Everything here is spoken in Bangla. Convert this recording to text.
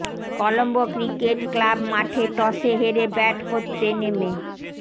কলম্বো ক্রিকেট ক্লাব মাঠে টসে হেরে ব্যাট করতে নেমে